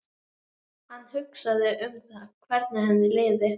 Hann hugsaði um það hvernig henni liði.